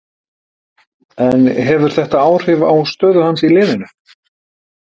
En hefur þetta áhrif á stöðu hans í liðinu?